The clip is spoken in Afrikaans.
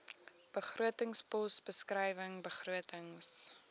begrotingspos beskrywing begrotings